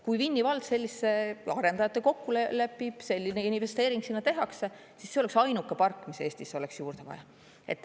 Kui Vinni vald selliste arendajatega kokku lepib, selline investeering sinna tehakse, siis see oleks ainuke park, mis Eestis oleks juurde vaja.